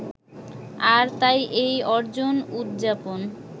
আর তাই এই অর্জন উদযাপন